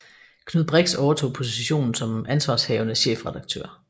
Knud Brix overtog positionen som ansvarshavende chefredaktør